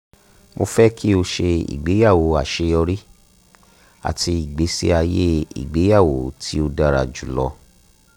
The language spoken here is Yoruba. mo fẹ ki o ṣe igbeyawo aṣeyọri ati igbesi aye igbeyawo ti ti o dara julọ